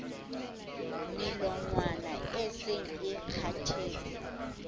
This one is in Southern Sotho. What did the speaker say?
melongwana e seng e kgathetse